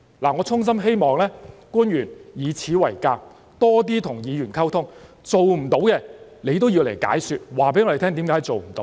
我衷心希望官員要以此為鑒，多點跟議員溝通，做不到的也要向我們解說，告訴我們為甚麼做不到。